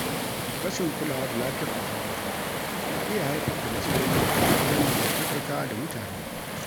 Rashin kulawa da lafiyar ƙwaƙwalwa na iya haifar da matsaloli wajen dangantakarka da mutane.